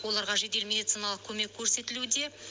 оларға жедел медициналық көмек көрсетілуде